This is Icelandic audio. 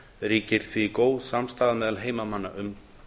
ríkir því góð samstaða meðal heimamanna um